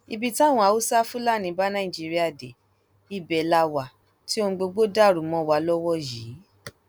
ibi táwọn haúsáfásilà bá nàìjíríà dé ibẹ la wà tí ohun gbogbo dàrú mọ wa lọwọ yìí